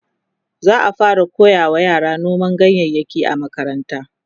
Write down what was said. za'a fara koyawa yara noman ganyayaki a makaranta